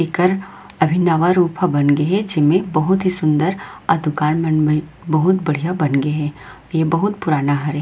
इकर अभी नावा रूपा बन गए हे जेमे बहुत ही सूंदर अउ दुकान मन बहुत बढ़िया बन गए हे ये बहुत ही पुराना हे।